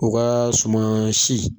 O ka suman si